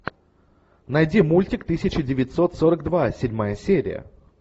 найди мультик тысяча девятьсот сорок два седьмая серия